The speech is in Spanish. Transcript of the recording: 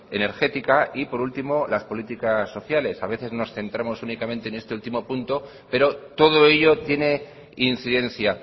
energética y por último las políticas sociales a veces nos centramos únicamente en este último punto pero todo ello tiene incidencia